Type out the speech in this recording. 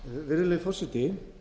virðulegi forseti